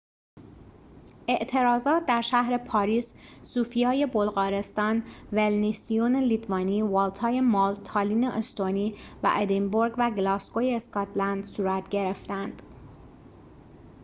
اعتراضات در شهر پاریس صوفیای بلغارستان ویلنیوس لیتوانی والتای مالت تالین استونی و ادینبورگ و گلاسگوی اسکاتلند صورت گرفتند